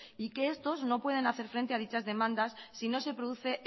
y que estos no pueden hacer frente a dichas demandas si no se produce